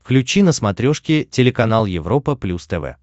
включи на смотрешке телеканал европа плюс тв